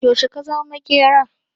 Yaushe ka zama maƙera?